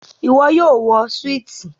iwọ yoo wọ Súìtì